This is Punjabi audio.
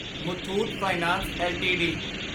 Muthoot finance LTD